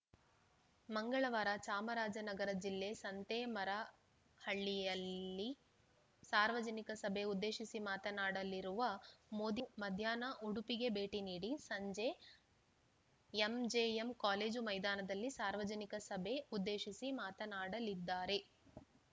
ಮಂಗಳವಾರ ಚಾಮರಾಜನಗರ ಜಿಲ್ಲೆ ಸಂತೇಮರಹಳ್ಳಿಯಲ್ಲಿ ಸಾರ್ವಜನಿಕ ಸಭೆ ಉದ್ದೇಶಿಸಿ ಮಾತನಾಡಲಿರುವ ಮೋದಿ ಮಧ್ಯಾಹ್ನ ಉಡುಪಿಗೆ ಭೇಟಿ ನೀಡಿ ಸಂಜೆ ಎಂಜೆಎಂ ಕಾಲೇಜು ಮೈದಾನದಲ್ಲಿ ಸಾರ್ವಜನಿಕ ಸಭೆ ಉದ್ದೇಶಿಸಿ ಮಾತನಾಡಲಿದ್ದಾರೆ